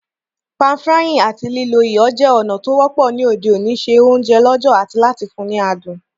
Pan-frying áti lílo iyọ̀ je ònà to wọ́pọ́ ni òde òní se ounje lọ̀jọ̀ ati láti fun ni adùn